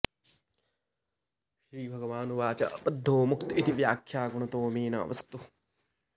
श्रीभगवानुवाच बद्धो मुक्त इति व्याख्या गुणतो मे न वस्तुतः